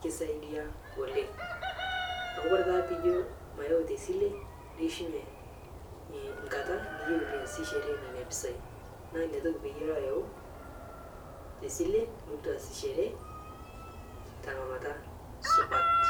kisaidia oleng' amu Kore taa piijo mayau tesilee neishunye nkata niyeu niasisheree nenia pisai naa inia toki peyie iloo ayau tesilee nilotuu aasichere tang'amata supat.